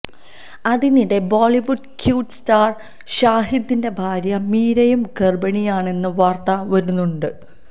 അതിനിടെ Bollywood cute star ഷാഹിദിന്റെ ഭാര്യ മിരയും ഗർഭിണിയാണെന്ന വാർത്ത വരുന്നുണ്ട്